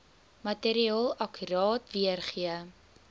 materiaal akkuraat weergee